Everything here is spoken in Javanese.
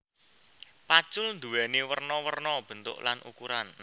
Pacul duwéni werna werna bentuk lan ukuran